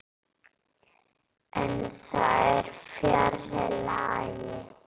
En það er fjarri lagi.